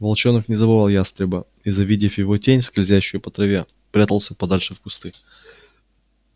волчонок не забывал ястреба и завидев его тень скользящую по траве прятался подальше в кусты